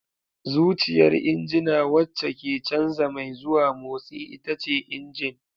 Zuciyar injina wacce ke canza mai zuwa motsi ita ce injin.